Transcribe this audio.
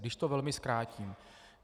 Když to velmi zkrátím.